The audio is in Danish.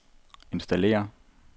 installere